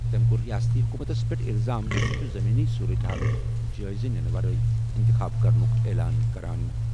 تٔمۍ کوٚر رِیٲستی حکوٗمتَس پٮ۪ٹھ الزام زِ سُہ چھُ زمینی صورتہِ حالُک جٲیزٕ نِنہٕ ورٲے اِنتِخاب کرنُک اعلان کران۔